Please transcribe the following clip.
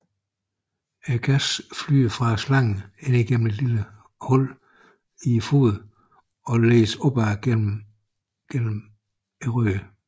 Gassen flyder fra slangen ind gennem et lille hul i foden og ledes opad gennem røret